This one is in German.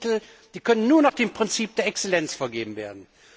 Forschungsmittel können nur nach dem Prinzip der Exzellenz vergeben werden.